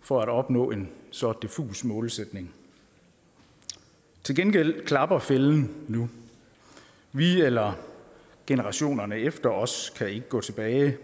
for at opnå en så diffus målsætning til gengæld klapper fælden nu vi eller generationerne efter os kan ikke gå tilbage